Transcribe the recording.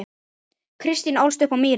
Kristín ólst upp á Mýri.